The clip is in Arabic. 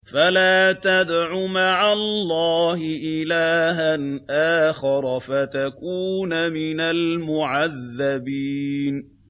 فَلَا تَدْعُ مَعَ اللَّهِ إِلَٰهًا آخَرَ فَتَكُونَ مِنَ الْمُعَذَّبِينَ